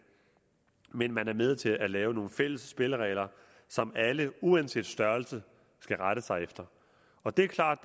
men er med til at lave nogle fælles spilleregler som alle uanset størrelse skal rette sig efter og det er klart